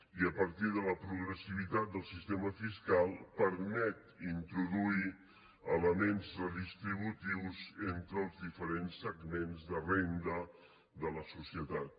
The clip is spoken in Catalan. i a partir de la progressivitat del sistema fiscal permet introduir elements redistributius entre els diferents segments de renda de la societat